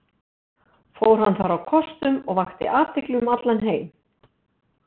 Fór hann þar á kostum og vakti athygli um allan heim.